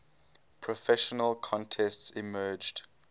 professional contests emerged